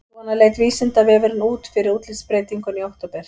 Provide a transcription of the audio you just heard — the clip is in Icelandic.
Svona leit Vísindavefurinn út fyrir útlitsbreytinguna í október.